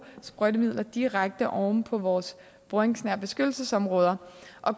sprøjtemidler direkte oven på vores boringsnære beskyttelsesområder